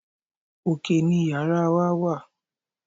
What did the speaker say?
Òkè ni yàrá wa wà.